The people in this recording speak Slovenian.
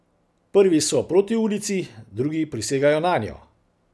Prvi so proti ulici, drugi prisegajo nanjo.